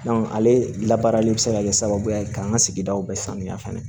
ale la baarali bɛ se ka kɛ sababu ye k'an ka sigidaw bɛ sanuya fɛnɛ